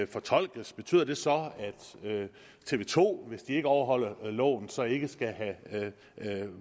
fortolkes betyder det så at tv to hvis de ikke overholder loven så ikke skal have